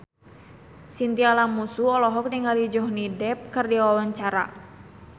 Chintya Lamusu olohok ningali Johnny Depp keur diwawancara